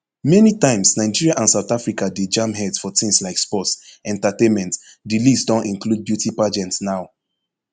many times nigeria and south africa dey jam heads for tins like sports entertainment di list don include beauty pageant now